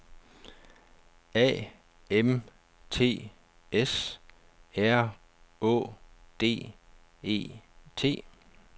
A M T S R Å D E T